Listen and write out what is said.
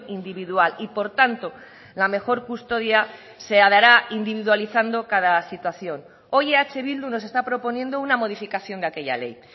individual y por tanto la mejor custodia se dará individualizando cada situación hoy eh bildu nos está proponiendo una modificación de aquella ley